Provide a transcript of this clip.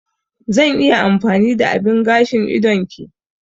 Zan iya amfani da abin gashin idon ki?